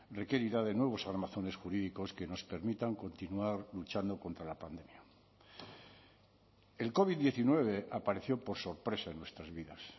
requerirá de nuevos armazones jurídicos que nos permitan continuar luchando contra la pandemia el covid diecinueve apareció por sorpresa en nuestras vidas